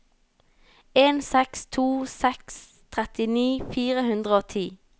en seks to seks trettini fire hundre og ti